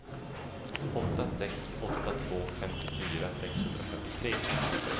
åtta sex åtta två femtiofyra sexhundrafyrtiotre